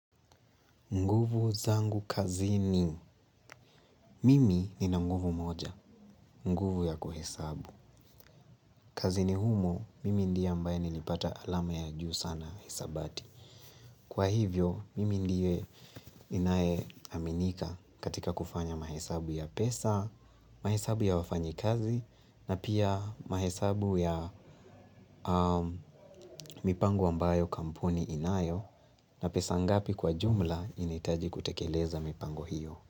Nguvu zangu kazini. Mimi nina nguvu moja, nguvu ya kuhesabu. Kazini humo, mimi ndie ambaye nilipata alama ya juu sana hisabati. Kwa hivyo, mimi ndiye ninae aminika katika kufanya mahesabu ya pesa, mahesabu ya wafanyi kazi, na pia mahesabu ya mipango ambayo kampuni inayo, na pesa ngapi kwa jumla inahitaji kutekeleza mipango hiyo.